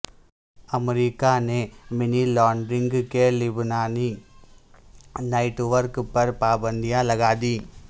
امریکہ نے money laundering کے لبنانی نیٹ ورک پر پابندیاں لگادیں